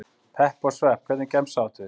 Pepp og svepp Hvernig gemsa áttu?